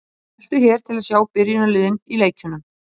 Þeir eru bestu stuðningsmennirnir á Englandi.